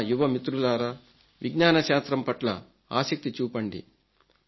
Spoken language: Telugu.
నా యువ మిత్రులారా విజ్ఞన శాస్త్రం పట్ల ఆసక్తి చూపండి